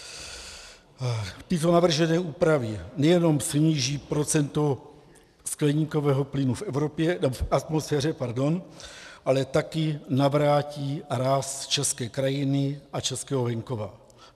Tyto navržené úpravy nejenom sníží procento skleníkového plynu v atmosféře, ale také navrátí ráz české krajiny a českého venkova.